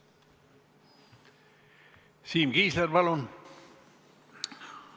Siim Kiisler, palun!